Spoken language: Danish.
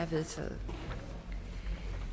vedtaget